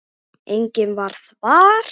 Enginn varð var.